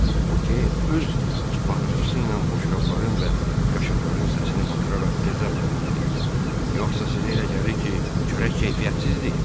Boke öz bağırtısı ilə boşqabların və qaşıqların səsini batıraraq qəzəblə dedi: “Yoxsa sizə elə gəlir ki, çörək keyfiyyətsizdir?”